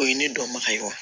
O ye ne dɔnbaga ye wa